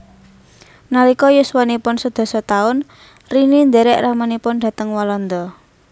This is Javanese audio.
Nalika yuswanipun sedasa taun Rini ndhèrèk ramanipun dhateng Walanda